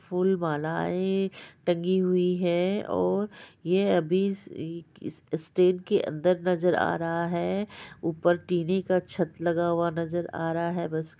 फूल मालाये टंगी हुई हैऔर ये अभी इस इस शेड के अंदर नजर आ रहा है | ऊपर टीने का छत लगा हुआ नजर आ रहा है बस --